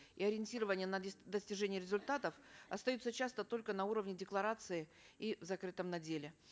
и ориентирования на достижение результатов остаются часто только на уровне деклараций и закрытым на деле